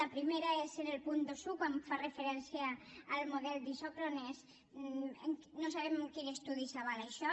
el primer és en el punt vint un quan fa referència al model d’isòcrones no sabem en quin estudi s’avala això